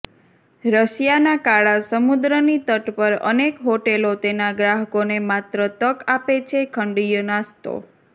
રશિયાના કાળા સમુદ્રની તટ પર અનેક હોટેલો તેના ગ્રાહકોને માત્ર તક આપે છે ખંડીય નાસ્તો